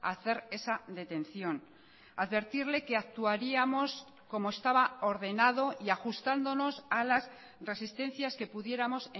a hacer esa detención advertirle que actuaríamos como estaba ordenado y ajustándonos a las resistencias que pudiéramos